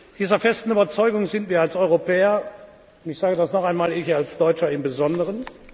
Dieser festen Überzeugung sind wir als Europäer und ich sage das noch einmal ich als Deutscher im Besonderen.